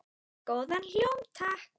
Góðan hljóm, takk!